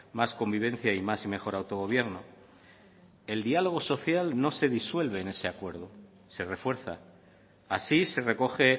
más convivencia y más y mejor autogobierno el diálogo social no se disuelve en ese acuerdo se refuerza así se recoge